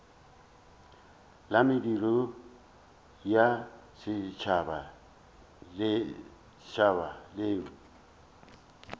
la mediro ya setšhaba leo